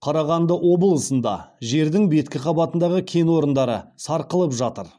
қарағанды облысында жердің беткі қабатындағы кен орындары сарқылып жатыр